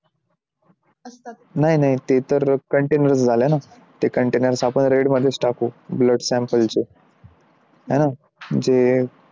नाही नाही ते तर container झालेत ना ते container आपण red मध्येच टाकू blood samples आहे ना? जे